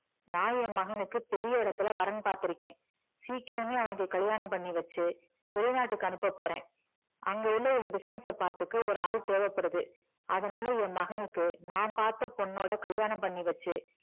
நான் என் மகனுக்கு பெரிய இடத்துல வரன் பாத்துருக்கேன் சீக்கிரமே அவனுக்கு கல்யாணம் பண்ணி வச்சு வெளிநாட்டுக்கு அனுப்ப போறேன் அங்க உள்ள என் business அ பாத்துக்க ஒரு ஆள் தேவைப்படுது அதனால என் மனுக்கு நான் பாத்த பொண்ணோட கல்யாணம் பண்ணி வச்சு